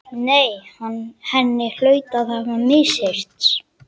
Nei, henni hlaut að hafa misheyrst.